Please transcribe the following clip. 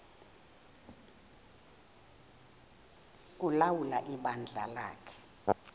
ulawula ibandla lakhe